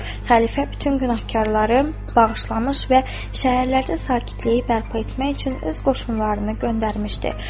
Xəlifə bütün günahkarları bağışlamış və şəhərlərdə sakitliyi bərpa etmək üçün öz qoşunlarını göndərmişdi.